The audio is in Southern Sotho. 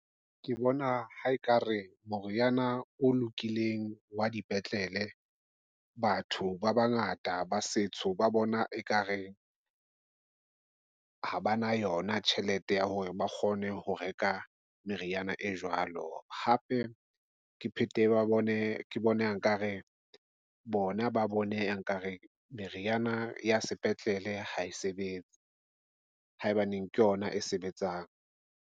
Ke bona ha ekare moriana o lokileng wa dipetlele. Batho ba bangata ba setsho ba bona ekareng ha ba na yona tjhelete ya hore ba kgone ho reka meriana e jwalo. Hape ke phetehe ke bona, nkare bona ba bone nkare. Meriana ya sepetlele ha e sebetse haebaneng ke yona e sebetsang.